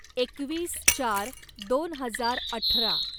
एकवीस चार दोन हजार अठरा